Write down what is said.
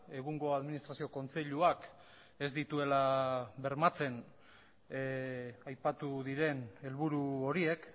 egungo administrazio kontseiluak ez dituela bermatzen aipatu diren helburu horiek